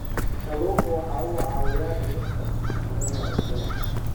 Kalluunku waxa uu caawiyaa dhimista khatarta cudurrada.